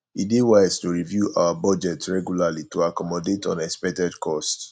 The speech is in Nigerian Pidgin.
e dey wise to review our budget regularly to accommodate unexpected costs